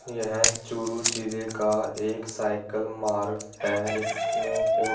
यह चूरू जिले का एक साइकिल मार्ग है इसमें --